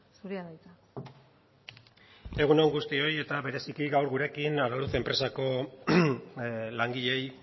zurea da hitza egun on guztioi eta bereziki gaur gurekin araluce enpresako langileei